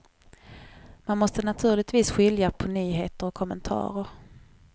Man måste naturligtvis skilja på nyheter och kommentarer.